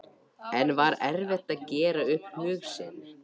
En var erfitt að gera upp hug sinn?